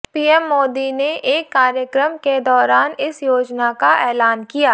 PM Modi ने एक कार्यक्रम के दौरान इस योजना का एलान किया